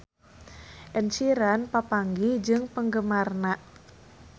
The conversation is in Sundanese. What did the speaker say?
Ed Sheeran papanggih jeung penggemarna